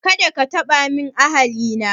Kada ka taba min ahali na